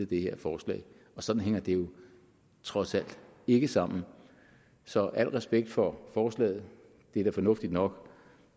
det her forslag og sådan hænger det jo trods alt ikke sammen så al respekt for forslaget det er da fornuftigt nok